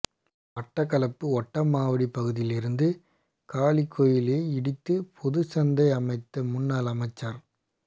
மட்டக்களப்பு ஓட்டமாவடி பகுதியில் இருந்த காளிகோயிலை இடித்து பொதுச்சந்தை அமைத்த முன்னாள் அமைச்சர்